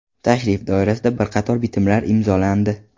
Tashrif doirasida bir qator bitimlar imzolandi.